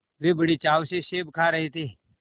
वे बड़े चाव से सेब खा रहे थे